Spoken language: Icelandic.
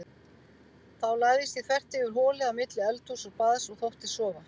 Þá lagðist ég þvert yfir holið á milli eldhúss og baðs og þóttist sofa.